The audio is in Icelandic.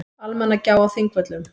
Almannagjá á Þingvöllum.